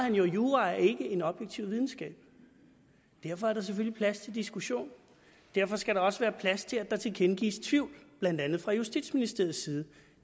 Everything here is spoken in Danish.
jura ikke en objektiv videnskab derfor er der selvfølgelig plads til diskussion derfor skal der også være plads til at der tilkendegives tvivl blandt andet fra justitsministeriets side